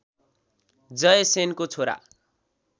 जयसेनको छोरा